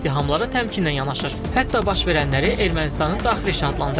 Rusiya ittihamlara təmkinlə yanaşır, hətta baş verənləri Ermənistanın daxili işi adlandırır.